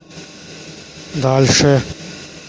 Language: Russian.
дальше